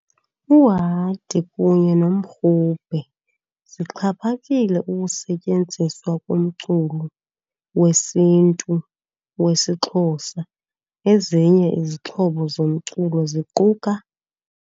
Uhadi kunye nomrhube zixhaphakile ukusetyenziswa kumculo wesiNtu wesiXhosa, ezinye izixhobo zomculo ziquka.